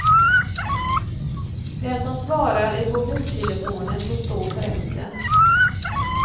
Den som svarar i mobiltelefonen får stå för resten.